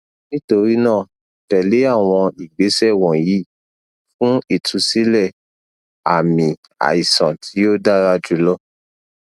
nitorinaa tẹle awọn igbesẹ wọnyi fun itusilẹ aami aisan ti o dara julọ